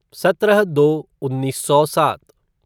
सत्रह दो उन्नीस सौ सात